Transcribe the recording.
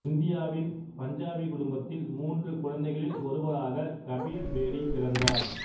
இந்தியாவின் பஞ்சாபி குடும்பத்தில் மூன்று குழந்தைகளில் ஒருவராகக் கபீர் பேடி பிறந்தார்